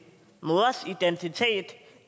mors identitet